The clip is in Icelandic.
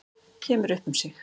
Kemur upp um sig.